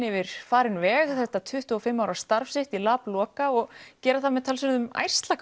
yfir farinn veg þetta tuttugu og fimm ára starf sitt í Labloka og gera það með talsverðum